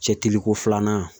Cɛtiliko filanan